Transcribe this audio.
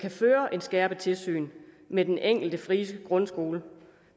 føre et skærpet tilsyn med den enkelte frie grundskole